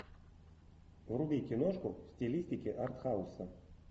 вруби киношку в стилистике артхауса